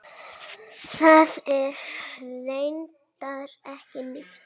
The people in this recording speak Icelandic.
Það er reyndar ekki nýtt.